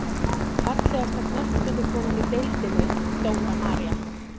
Fallegasta knattspyrnukonan í deildinni: Dóra María.